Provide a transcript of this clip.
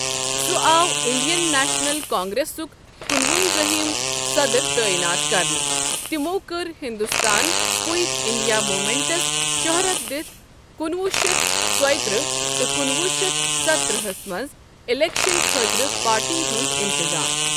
سہ آو Indian National کانگریسک کنونزٲہِم صدر تعیِنات کرنہٕ، تِمَو کٔر ہندوستان کُیِٹ انڑیا مومینٛٹس شہرَت دِتھ کُنوُہ شیتھ ژۄیترہ تہٕ کُنوُہ شیتھ ستترہَس منٛز اِلیکشن خٲطرٕ پارٹی ہنٛد انتظام۔